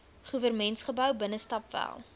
goewermentsgebou binnestap wel